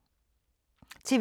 TV 2